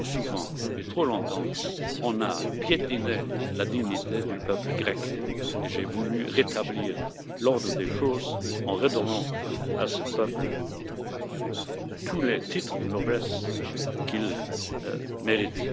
Trop souvent et trop longtemps, on a piétiné la dignité du peuple grec et j'ai voulu rétablir l'ordre des choses en redonnant à ce peuple tous les titres de noblesse qu'il mérite.